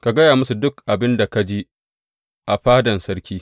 Ka gaya musu duk abin da ka ji a fadan sarki.